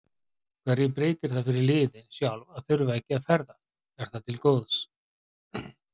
Hverju breytir það fyrir liðin sjálf að þurfa ekki að ferðast, er það til góðs?